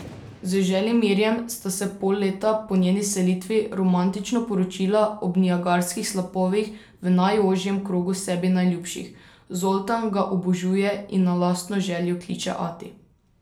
Z Želimirjem sta se pol leta po njeni selitvi romantično poročila ob Niagarskih slapovih v najožjem krogu sebi najljubših, Zoltan ga obožuje in na lastno željo kliče ati.